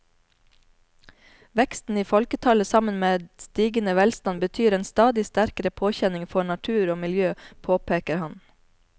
Veksten i folketallet sammen med stigende velstand betyr en stadig sterkere påkjenning for natur og miljø, påpeker han.